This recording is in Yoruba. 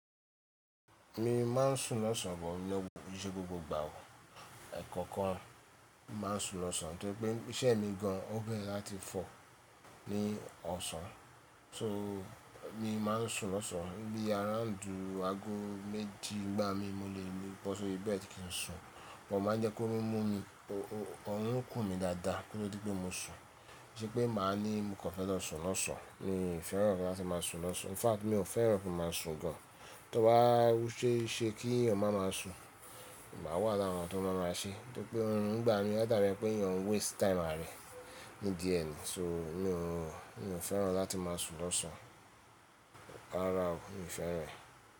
Mi máa ń sùn lọ́sàn bo iyen ko ki'ṣẹ́ gbogbo gbà o. Ẹ̀kọ́ kan, máa ń sùn lọ́sàn, torí pé iṣẹ́ mi gan an ó gbé láti fọ̀ ní ọ̀sán. So mi máa ń sùn lọ́sàn, bí i around aago méjì n gbá mi mo lè bọ́ sọ̀ri bẹ́ẹ̀dì kí n sùn, mo máa ń jẹ́ k'órun mú mi, òrun ń kùn mí dáadáa koto dí pé mo sùn. Ki sé pé màá ní mo kọ fẹ́ lọ sùn lọ́sàn, mi ò fẹ́ràn láti máa sùn lọ́sàn. In fact mi ò fẹ́ràn láti máa sùn gan an. Tó bá ṣese kí èèyàn má máa sùn, mà á wà lára àwọn tó máa máa ṣe, torí pé nígbà mi ó dárí ẹ pé èèyàn ń waste time àra e nidí e ni. So mi ò, mi ò fẹ́ràn láti máa sùn lọ́sàn, kára o, mi ò fẹ́ rẹ̀.